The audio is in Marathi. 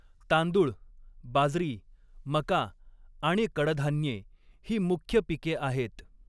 तांदूळ, बाजरी, मका आणि कडधान्ये ही मुख्य पिके आहेत.